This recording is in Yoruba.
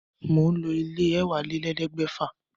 Mò ń lo ilé e èwálélẹ́ẹ̀ẹ́dẹ́gbẹ́fà